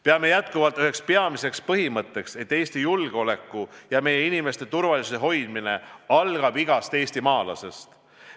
Peame endiselt üheks peamiseks põhimõtteks, et Eesti julgeoleku ja meie inimeste turvalisuse hoidmine algab igast eestimaalasest.